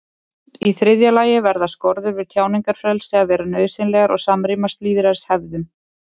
í þriðja lagi verða skorður við tjáningarfrelsi að vera nauðsynlegar og samrýmast lýðræðishefðum